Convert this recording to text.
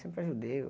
Sempre ajudei o.